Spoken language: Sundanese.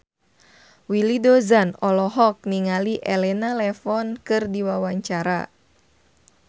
Willy Dozan olohok ningali Elena Levon keur diwawancara